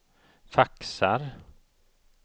faxar